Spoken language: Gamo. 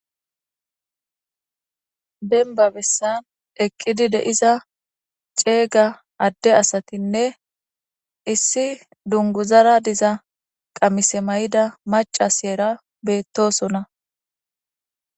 benba bessan eqqidi deiza ceeyga adde asatinne issi dunguzara diza qamise may7ida macasyera beettosona